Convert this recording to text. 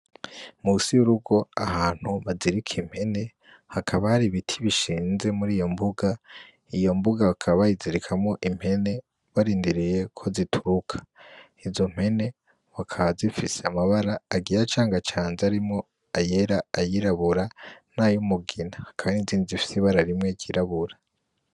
Musi y'urugo ahantu bazirika impene hakaba hari ibiti bishinze muri iyo mbuga iyo mbuga bakaba bayizirikamwo impene barindiriye ko zituruka, izo mpene w akazifise amabara agira acanga canje arimo ayera ayirabura nayo umugina, kandi zindi zifsibara arimwe girabura.